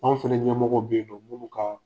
Anw fɛnɛ ɲɛmɔgɔw be yennɔ. F'olu kaa